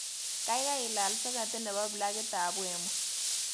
Gaigai ilaal soketit nebo plakitab wemo